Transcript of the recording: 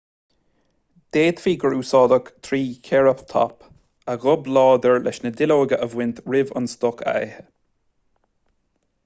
d'fhéadfaí gur úsáideadh trícheireatóp a ghob láidir leis na duilleoga a bhaint roimh an stoc a ithe